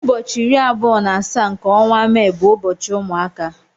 Ụbọchị iri abụọ na asaa nke ọnwa Mee bu ụbọchị ụmụaka.